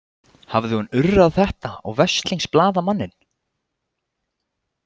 Hafði hún urrað þetta á veslings blaðamanninn?